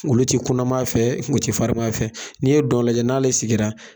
Olu ti kunaman fɛ ,u ti farima fɛ, n'i ye dɔw lajɛ n'ale sigira